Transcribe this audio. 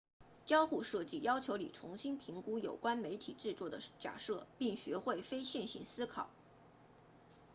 交互设计要求你重新评估有关媒体制作的假设并学会非线性思考